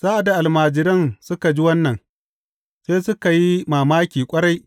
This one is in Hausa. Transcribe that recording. Sa’ad da almajiran suka ji wannan, sai suka yi mamaki ƙwarai.